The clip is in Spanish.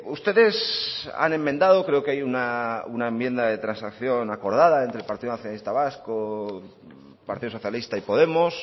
ustedes han enmendado creo que hay una enmienda de transacción acordada entre el partido nacionalista vasco partido socialista y podemos